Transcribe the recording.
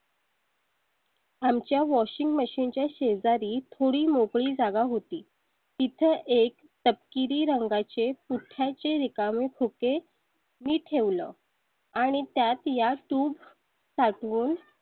आमच्या washing machine च्या शेजारी थोडी मोकळी जागा होती. तिथे एक तपकिरी रंगाचे पुठ्ठ्याचे रिकामे खोके मी ठेवलं आणि त्या या tube साठवून